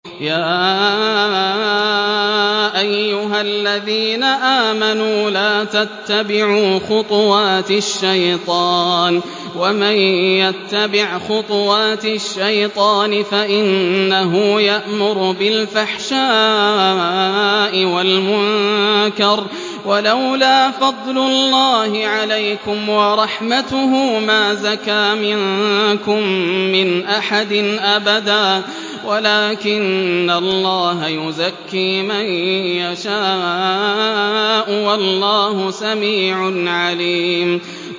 ۞ يَا أَيُّهَا الَّذِينَ آمَنُوا لَا تَتَّبِعُوا خُطُوَاتِ الشَّيْطَانِ ۚ وَمَن يَتَّبِعْ خُطُوَاتِ الشَّيْطَانِ فَإِنَّهُ يَأْمُرُ بِالْفَحْشَاءِ وَالْمُنكَرِ ۚ وَلَوْلَا فَضْلُ اللَّهِ عَلَيْكُمْ وَرَحْمَتُهُ مَا زَكَىٰ مِنكُم مِّنْ أَحَدٍ أَبَدًا وَلَٰكِنَّ اللَّهَ يُزَكِّي مَن يَشَاءُ ۗ وَاللَّهُ سَمِيعٌ عَلِيمٌ